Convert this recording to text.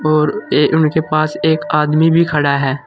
और ए उनके पास एक आदमी भी खड़ा है।